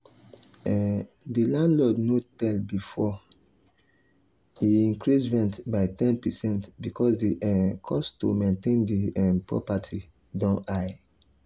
um the landlord no tell before e increase rent by ten percent because the um cost to maintain the um property don high.